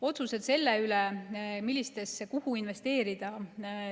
Otsused selle kohta, kuhu investeerida.